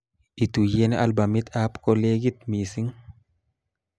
Ituyen albumit ab kolekit mising'